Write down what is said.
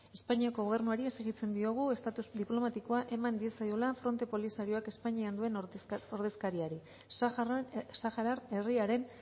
espainiako gobernuari exijitzen diogu estatus diplomatikoa eman diezaiola fronte polisarioak espainian duen ordezkariari saharar herriaren